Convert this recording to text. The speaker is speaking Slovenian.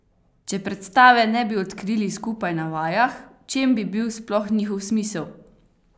Če predstave ne bi odkrili skupaj na vajah, v čem bi bil sploh njihov smisel?